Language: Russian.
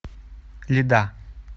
льда